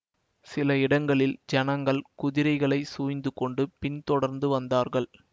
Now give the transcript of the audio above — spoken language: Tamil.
சில இடங்களில் ஜனங்கள் குதிரைகளை சூழிந்துகொண்டு பின் தொடர்ந்து வந்தார்கள்